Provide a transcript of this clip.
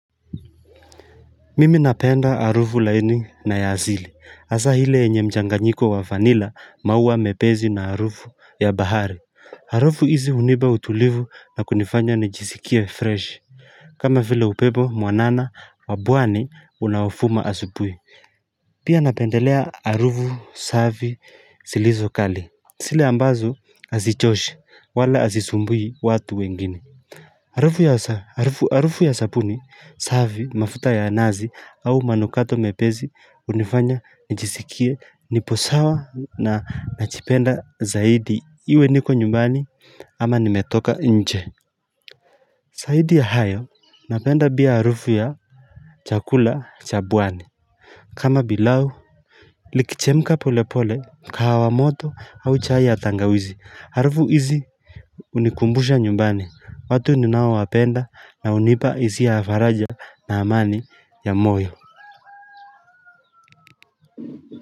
Mimi napenda arufu laini na ya asili asa hile enye mchanganyiko wa vanilla mauwa mepezi na arufu ya bahari Arufu hizi uniba utulivu na kunifanya nijisikia fresh kama vile upepo mwanana wa buwani unaofuma asubui Pia napendelea arufu saavi silizo kali Sile ambazo azichoshi wala azisumbui watu wengine Harufu ya sapuni savi mafuta ya nazi au manukato mepezi unifanya njisikie nipo sawa na nachipenda zaidi iwe niko nyumbani ama nimetoka nche saidi ya hayo napenda bia harufu ya chakula cha bwani kama bilao Likichemka polepole kahawa moto au chai ya tangawizi harufu hizi unikumbusha nyumbani, watu ninaowapenda na unipa isia ya faraja na amani ya moyo.